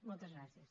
moltes gràcies